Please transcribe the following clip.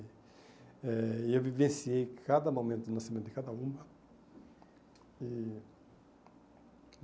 Eh e eu vivenciei cada momento do nascimento de cada uma. E